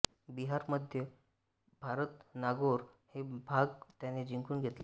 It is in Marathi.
बिहार मध्य भारत नागौर हे भाग त्याने जिंकून घेतले